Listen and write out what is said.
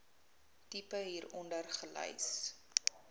tipe hieronder gelys